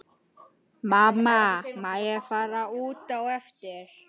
Mamma má ég fara út á eftir?